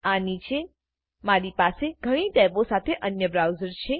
આ નીચે મારી પાસે ઘણી ટેબો સાથે અન્ય બ્રાઉઝર છે